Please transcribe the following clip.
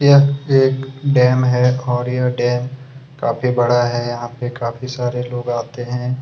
यह एक डेम है और यह डैम काफी बड़ा है यहाँ पे काफी सारे लोग आते है।